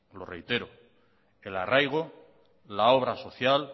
lo reitero el arraigo la obra social